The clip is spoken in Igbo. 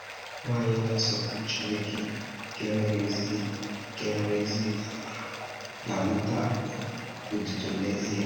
Nwànyị na-asọpụrụ Chineke nke nwere ezi nke nwere ezi amara ga-anata otuto n’ezīe.